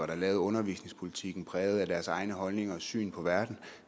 der lavede undervisningspolitikken præget af deres egne holdninger og syn på verden